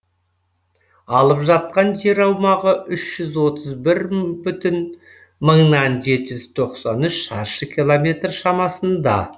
алып жатқан жер аумағы үш жүз отыз бір бүтін мыңнан жеті жүз тоқсан үш шаршы километр шамасында